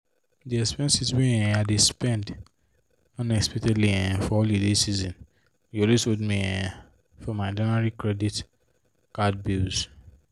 the expenses wey um i dey spend unexpectedly um for holiday season dey always hold me um for my january credit card bills.